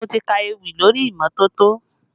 Mo ti ka ewì lórí imọtoto